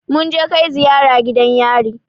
Mun je kai ziyara gidan yari